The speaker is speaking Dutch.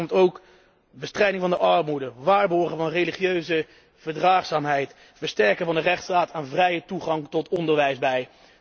Daar hoort ook bestrijding van de armoede, waarborgen van religieuze verdraagzaamheid, versterking van de rechtsstaat en vrije toegang tot onderwijs bij.